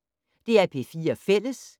DR P4 Fælles